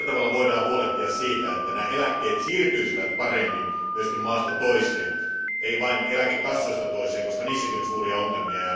Millä tavalla voidaan huolehtia siitä, että eläkkeet siirtyisivät paremmin myös maasta toiseen, ei vain eläkekassoista toiseen, koska niissäkin on suuria ongelmia?